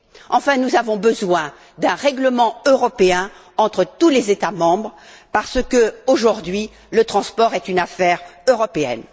Enfin, nous avons besoin d'un règlement européen entre tous les États membres parce que, aujourd'hui, le transport est une affaire européenne.